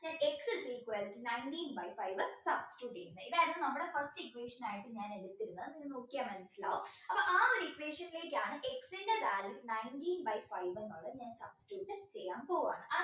ഞാൻ x is equal to nineteen by five substitute ചെയ്യുന്നത് ഇതായിരുന്നു നമ്മുടെ first equation ആയിട്ട് ഞാൻ എടുത്തിരുന്നത് ഇത് നോക്കിയാൽ മനസ്സിലാവും അപ്പോ ആ ഒരു equation ലേക്കാണ് X ൻറെ value nineteen by five എന്നുള്ളത് substitute ചെയ്യാൻ പോവാണ്